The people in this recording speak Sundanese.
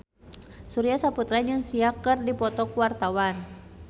Surya Saputra jeung Sia keur dipoto ku wartawan